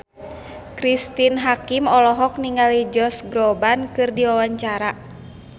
Cristine Hakim olohok ningali Josh Groban keur diwawancara